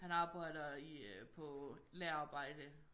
Han arbejder i øh på lager arbejde